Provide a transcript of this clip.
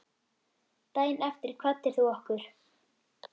Daginn eftir kvaddir þú okkur.